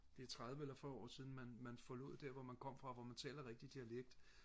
det er tredive eller fyrre år siden man man forlod der hvor man kom fra hvor man taler rigtig dialekt